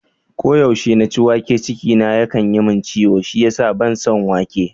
Ko yaushe na ci wake, ciki na yakan yi min ciwo shi yasa ban son wake.